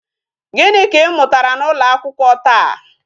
Gịnị ka ị mụtara n'ụlọ akwụkwọ taa?